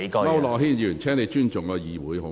區諾軒議員，請你尊重議會。